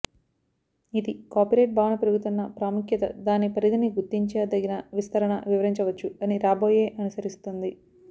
ఇది కాపీరైట్ భావన పెరుగుతున్న ప్రాముఖ్యత దాని పరిధిని గుర్తించదగిన విస్తరణ వివరించవచ్చు అని రాబోయే అనుసరిస్తుంది